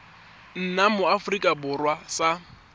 nna mo aforika borwa sa